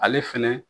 Ale fɛnɛ